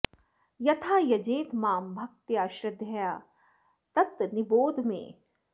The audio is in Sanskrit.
यथा यजेत मां भक्त्या श्रद्धया तत् निबोध मे